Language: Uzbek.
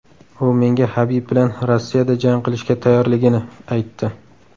U menga Habib bilan Rossiyada jang qilishga tayyorligini aytdi.